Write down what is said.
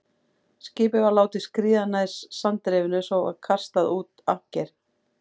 Skipið var látið skríða nær sandrifinu, svo var kastað út ankeri.